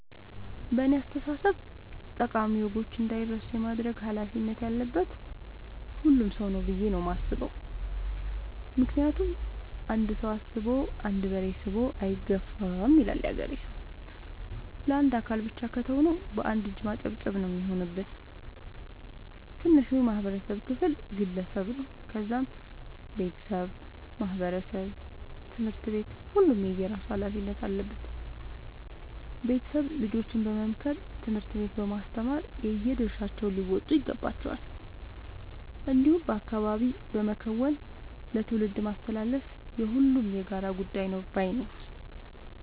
በእኔ አስተሳሰብ ጠቃሚ ወጎች እንዳይረሱ የማድረግ ኃላፊነት ያለበት ሁሉም ሰው ነው። ብዬ ነው የማስበው ምክንያቱም "አንድ ሰው አስቦ አንድ በሬ ስቦ አይገፋም " ይላል ያገሬ ሰው። ለአንድ አካል ብቻ ከተው ነው። በአንድ እጅ ማጨብጨብ ነው የሚሆንብን። ትንሹ የማህበረሰብ ክፍል ግለሰብ ነው ከዛም ቤተሰብ ማህበረሰብ ትምህርት ቤት ሁሉም የየራሱ ኃላፊነት አለበት ቤተሰብ ልጆችን በመምከር ትምህርት ቤት በማስተማር የየድርሻቸውን ሊወጡ ይገባቸዋል። እንዲሁም በአካባቢ በመከወን ለትውልድ ማስተላለፍ የሁሉም የጋራ ጉዳይ ነው ባይነኝ።